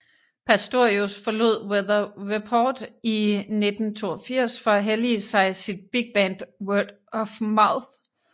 Pastorius forlod Weather Report i 1982 for at hellige sig sit bigband Word of Mouth